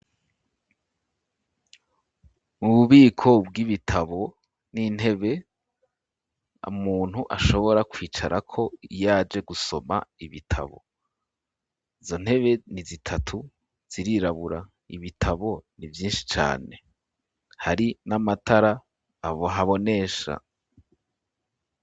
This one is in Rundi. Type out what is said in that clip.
Ububiko bw'ibitabo n'intebe amuntu ashobora kwicara ko iyaje gusoma ibitabo izo ntebe ni zitatu zirirabura ibitabo ni vyinshi cane hari n'amatara ahabonesha